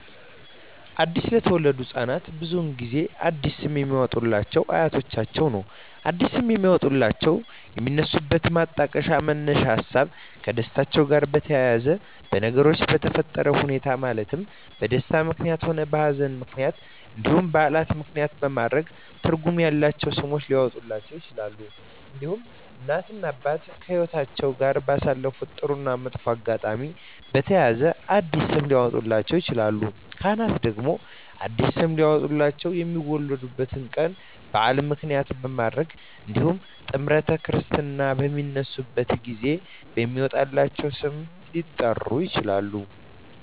አዲስ ለተወለዱ ህፃናት ብዙውን ጊዜ አዲስ ስም የሚያወጡሏቸው አያቶቻቸውን ነው አዲስ ስም የሚያወጧላቸው የሚነሱበት ማጣቀሻ መነሻ ሀሳቦች ከደስታቸው ጋር በተያያዘ በነገሮች በተፈጠረ ሁኔታዎች ማለትም በደስታም ምክንያትም ሆነ በሀዘንም ምክንያት እንዲሁም በዓላትን ምክንያትም በማድረግ ትርጉም ያላቸው ስሞች ሊያወጡላቸው ይችላሉ። እንዲሁም እናት እና አባት ከህይወትአቸው ጋር ባሳለፉት ጥሩ እና መጥፎ አጋጣሚ በተያያዘ አዲስ ስም ሊያወጡላቸው ይችላሉ። ካህናት ደግሞ አዲስ ስም ሊያወጡላቸው የሚወለዱበት ቀን በዓል ምክንያት በማድረግ እንዲሁም ጥምረተ ክርስትና በሚነሱበት ጊዜ በሚወጣላቸው ስም ሊጠሩ ይችላሉ።